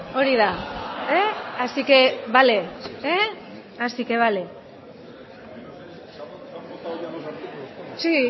hori da así que vale así que vale sí